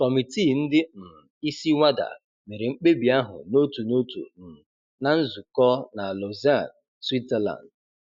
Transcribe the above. Kọmiti ndị um isi WADA mere mkpebi ahụ n'otu n'otu um na nzukọ na Lausanne, Switzerland.